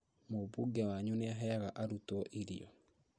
Mũmbunge wanyu nĩaheaga arutwo irio